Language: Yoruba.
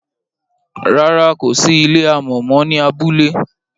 ràrá o kò sí ilé amò mọ ní abúlé